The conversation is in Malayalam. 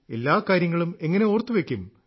എല്ലാ കാര്യങ്ങളും എങ്ങനെ ഓർത്തുവെയ്ക്കും